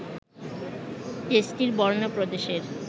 দেশটির বর্নো প্রদেশের